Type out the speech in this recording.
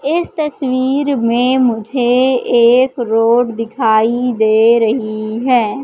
इस तस्वीर में मुझे एक रोड दिखाई दे रही है।